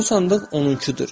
Bu sandıq onunkudur.